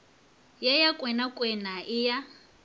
ye ya kwenakwena ye ya